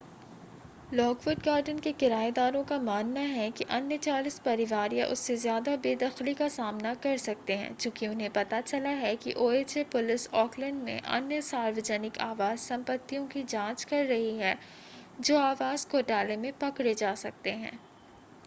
Lockwood Garden के किरायेदारों का मानना ​​है कि अन्य 40 परिवार या उससे ज़्यादा बेदखली का सामना कर सकते हैं चूँकि उन्हें पता चला है कि ओएचए पुलिस ऑकलैंड में अन्य सार्वजनिक आवास संपत्तियों की जाँच कर रही है जो आवास घोटाले में पकड़े जा सकते हैं